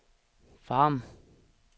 Farum